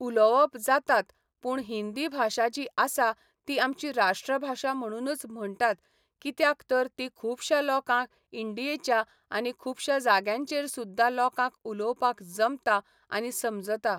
उलोवप जातात पूण हिंदी भाशा जी आसा ती आमची राष्ट्रभाषा म्हणूनच म्हणटात कित्याक तर ती खुबश्या लोकांक इंडियेच्या आनी खुबश्या जाग्यांचेर सुद्दां लोकांक उलोवपाक जमता आनी समजता